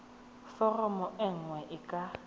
foromo e nngwe e ka